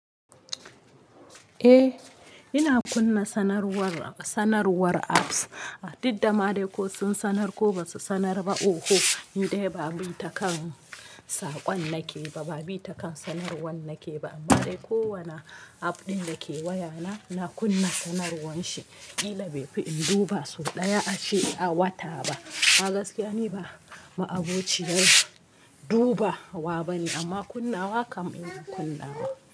Eh, ina kunna sanarwar, sanarwar apps. A dudda ma dai ko sun sanar ko ba su sanar ba. Oho, ni dai ba bin ta kan saƙon nake ba, ba bi ta kan sanarwar nake ba. Amma dai kowane app ɗin da ke wayana, na kunna sanarwar shi. Ƙila bai fi in duba sau ɗaya a ce, a wata ba. A gaskiya ni ba ma'abociyar duba wa bane, amma kunnawa kam ina kunnawa.